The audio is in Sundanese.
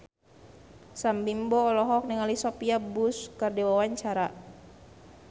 Sam Bimbo olohok ningali Sophia Bush keur diwawancara